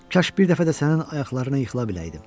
Kaş bir dəfə də sənin ayaqlarına yıxıla biləydim.